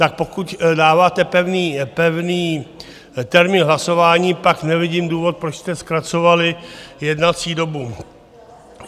Tak pokud dáváte pevný termín hlasování, pak nevidím důvod, proč jste zkracovali jednací dobu.